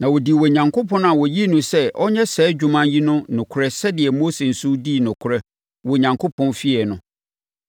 Na ɔdii Onyankopɔn a ɔyii no sɛ ɔnyɛ saa adwuma yi no nokorɛ sɛdeɛ Mose nso dii nokorɛ wɔ Onyankopɔn fie no.